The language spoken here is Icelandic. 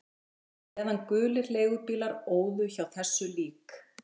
Og á meðan gulir leigubílar óðu hjá þessu lík